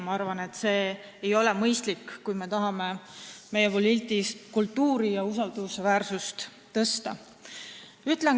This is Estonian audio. Ma arvan, et see ei ole mõistlik, kui me tahame meie poliitilist kultuuri parandada ja usaldusväärsust suurendada.